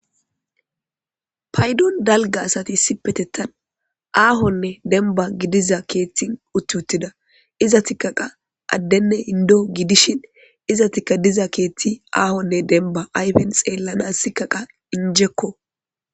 Paydon dalaga asati issipetetan ahonne denba gidiaza ketha uti utida izetika qa adenne endo gidishin izetikka diza kethi ahonne denba ayfen xelanas qase injekko